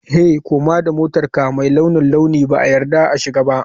Hey! Koma da motarka mai launin launi ba a yarda a shiga ba.